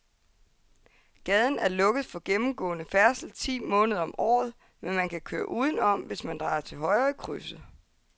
Gaden er lukket for gennemgående færdsel ti måneder om året, men man kan køre udenom, hvis man drejer til højre i krydset.